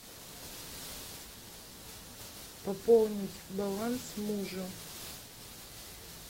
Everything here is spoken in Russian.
пополнить баланс мужу